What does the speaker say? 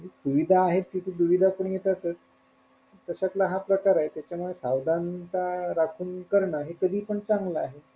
सुविधा आहे तिथे दुविधा पण येतातच त्याच्यातला हा प्रकारे त्याच्यामुळं सावधानता राखून करण हे कधी पण चांगलं आहे.